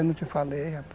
Eu não te falei, rapaz.